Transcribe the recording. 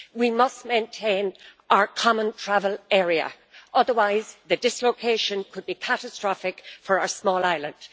We must maintain our common travel area, otherwise the dislocation could be catastrophic for our small island.